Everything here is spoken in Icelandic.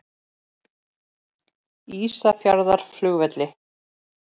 Ísafjarðarflugvelli